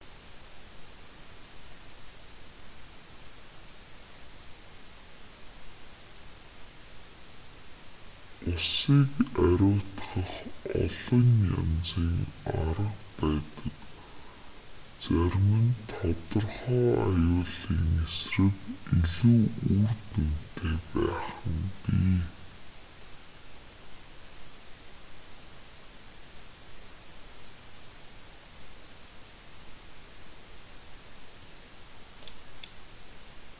усыг ариутгах олон янзын арга байдаг зарим нь тодорхой аюулын эсрэг илүү үр дүнтэй байх нь бий